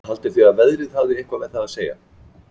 Haldið þið að veðrið hafi eitthvað með það að segja?